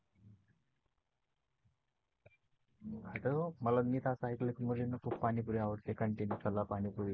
मला नीट असा ऐकलं की मुलींना खूप पाणी पुरी आवडते continue पाणी पुरी